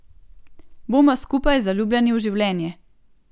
Bomo skupaj zaljubljeni v življenje!